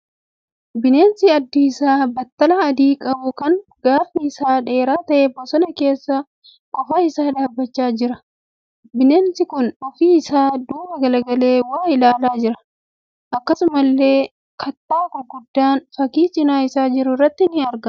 Bineensa addi isaa battala adii qabu kan gaafi isaa dheeraa ta'e bosona keessa qofaa isaa dhaabbachaa jira. Bineensi kun ofi isaa duuba galagalee waa ilaalaa jira. Akkasumallee kattaa gurguddaan fakkii cina isaa jiru irratti argamaa jira.